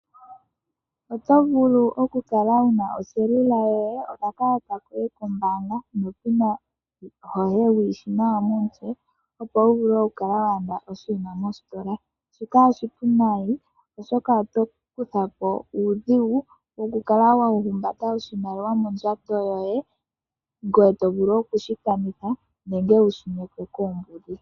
Oto vulu okukala wu na oselula yoye nokakalata koye kombaanga nopina yoye wu yi shi nawa momutse, opo wu vule okukala wa landa oshinima mositola. Shika oshipu nayi oshoka oto kutha po uudhigu wokukala wa humbata oshimaliwa mondjato yoye, ngoye to vulu oku shi kanitha nenge wu shi nyekwe koombudhi.